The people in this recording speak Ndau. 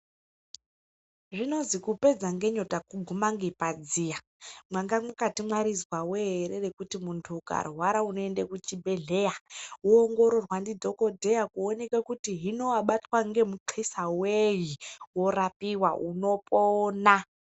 Zvinozwi kupedza nyota kuguma ngepadziya, mwanga mwakarizwa ere kuti munhu ukarwara unoende kuchibhedhlera woongororwa nadhokodheya kuonekwa kuti hino wabatwa ngemuxisa wei, unorapiwa unopona.